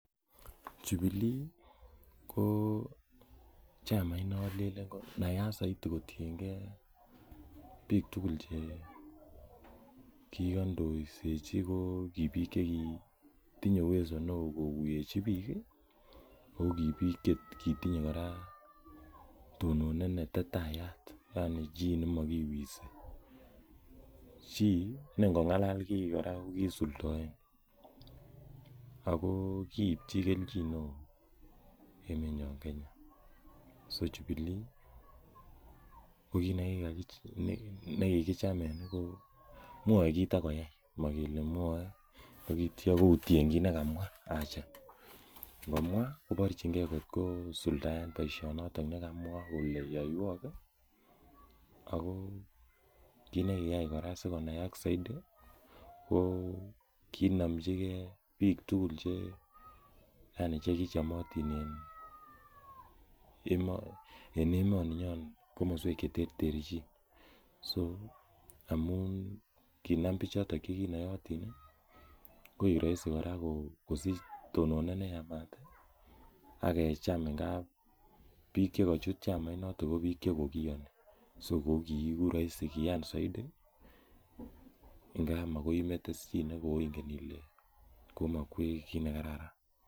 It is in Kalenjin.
Jubilee koo chamait nalel konayat zaidi kotiengee biik tugul chekikondoisechi ko ki biik chekitinye[cs[ uwezo neo kokuisechi biik ako kii biik chekitinyee kora tononet netetayat yaani chii nemo kiwisi chii kora nengong'alal komokiwisi akoo kipchi kelchin emenyon kenya so jubilee kokit nekikichameny koo mwae kit akoyai mokele mwoe akitia koutien kit nekamwa aja ngomwa koborchingee kot koo suldaen boisionot nekamwa kole yoiwok ii koo kit nekiyai kora sikonaak zaidi ko kinomchike biik tugul yani chekichomotin en emoni nyon komoswek cheterterchin so amun kinam bichoton kinoyotin ii koik rahisi kosich tononet neyamat ii akecham ngap biik chekochut chamainoto ko biik chekokiyani so kokiiku rahisi kiyani zaidi ngapi makoi imete chii nekoingen ile komokwech kit nekararan.